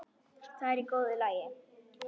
Það er í góðu lagi.